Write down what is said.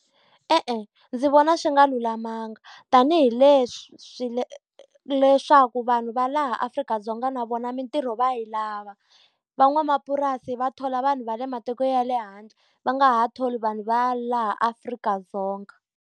E-e ndzi vona swi nga lulamanga. Tanihi leswaku vanhu va laha Afrika-Dzonga na vona mintirho va yi lava. Van'wamapurasi va thola vanhu va le matiko ya le handle, va nga ha tholi vanhu va laha Afrika-Dzonga.